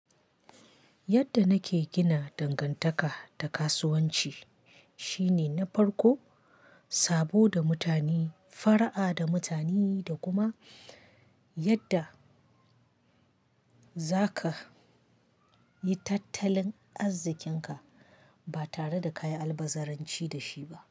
Yadda nake gina dangantaka da kasuwanci shine na farko sabo da mutane, fara'a da mutane da kuma yadda za ka yi tattalin arzikinka ba tare da kayi albazaranci da shi ba.